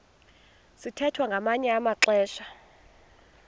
sithwethwa ngamanye amaxesha